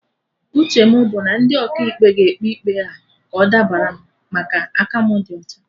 Uche mụ bụ na ndị Ọkaikpe ga-ekpe ikpe a ka ọ dabara m, maka aka mụ di ọcha